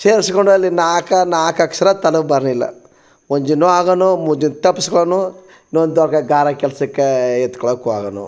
ಸೆರ್ಸಗುಂಡಲಿ ನಾಕ್ ನಾಕ್ ಅಕ್ಷರ ತನಗ್ ಬರಲಿಲ್ಲಾ ಒಂದಿನು ಅದನ್ನು ಮುಂದಿನ್ ತಪ್ಪಸ್ಕೊನು ನನ್ನತೋಕೆ ಗಾರೆ ಕೆಲ್ಸ್ ಕ್ ಎತ್ತಕೊಳ್ಳಕ್ ಹೋಗೋನು .